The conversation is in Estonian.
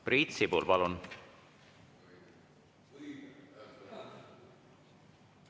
Priit Sibul, palun!